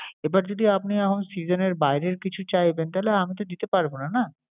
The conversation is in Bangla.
এবার যদি আপনি এখন সেজনের বাইরের কিছু চাইবেন তাইলে আমি দিতে পারব না, না।